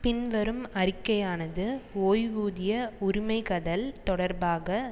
பின்வரும் அறிக்கையானது ஓய்வூதிய உரிமைகள் தொடர்பாக